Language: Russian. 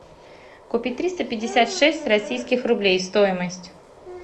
купить триста пятьдесят шесть российских рублей стоимость